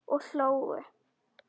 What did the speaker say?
Og hlógu.